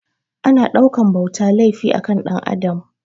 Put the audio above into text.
Ana ɗaukan bauta laifi a kan Ɗan Adam